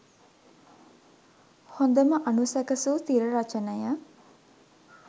හොඳම අනුසැකසූ තිරරචනය